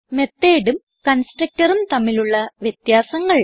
methodഉം constructorഉം തമ്മിലുള്ള വ്യത്യാസങ്ങൾ